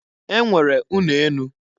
E nwere ụnọ enu.